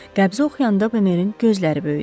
Qəbzi oxuyanda Bemerin gözləri böyüdü.